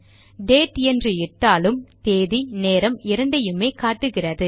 date என்று இட்டாலும் தேதி நேரம் இரண்டையுமே காட்டுகிறது